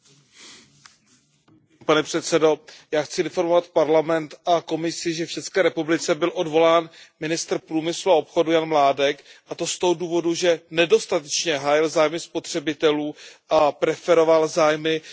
Pane předsedající, já chci informovat Parlament a Komisi, že v České republice byl odvolán ministr průmyslu a obchodu Jan Mládek, a to z toho důvodu, že nedostatečně hájil zájmy spotřebitelů a preferoval zájmy mobilních operátorů.